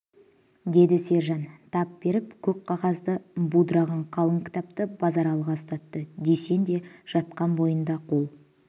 деді сержан тап беріп көп қағазды будыраған қалың кітапты базаралыға ұстатты дүйсен де жатқан бойында қол